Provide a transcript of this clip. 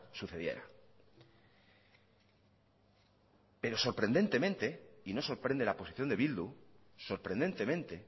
sucediera pero sorprendentemente y no sorprende la posición de bildu sorprendentemente